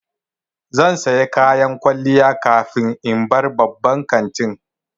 Zan saya kayan kwalliya kafin in bar babban kantin